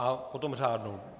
A potom řádnou.